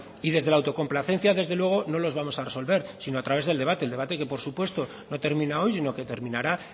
amaitzen joan y desde la autocomplacencia desde luego no los vamos a resolver sino a través del debate el debate que por supuesto no termina hoy sino que terminará